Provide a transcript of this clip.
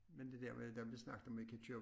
Men det dér med der blev snakket om køre